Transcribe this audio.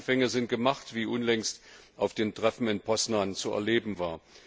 Gute Anfänge sind gemacht, wie unlängst auf dem Treffen in Poznań zu erleben war.